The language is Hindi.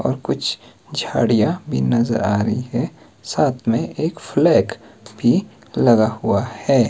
और कुछ झाड़ियां भी नजर आ रही है साथ में एक फ्लैग भी लगा हुआ है।